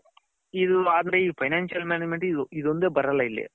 ಆದ್ರೆ ಈ financial management ಇದು ಒಂದೇ ಬರಲ್ಲ ಇಲ್ಲಿ .